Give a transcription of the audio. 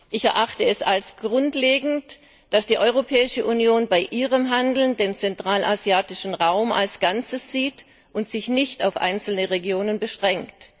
Ich erachte es als grundlegend, dass die Europäische Union bei ihrem Handeln den zentralasiatischen Raum als Ganzes sieht und sich nicht auf einzelne Regionen beschränkt.